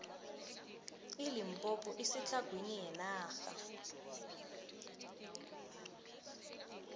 ilimpompo isetlhagwini yenarha